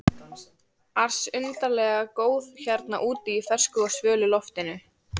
ars undarlega góð hérna úti í fersku og svölu loftinu.